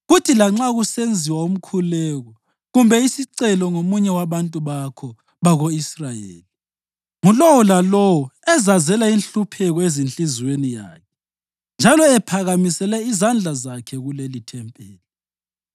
kuthi lanxa kusenziwa umkhuleko kumbe isicelo ngomunye wabantu bakho bako-Israyeli, ngulowo lalowo ezazela inhlupheko ezinhliziyweni yakhe njalo ephakamisele izandla zakhe kulelithempeli,